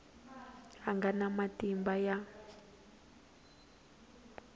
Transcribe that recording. a nga na matimba ya